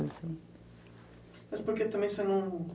Mas por que também você não...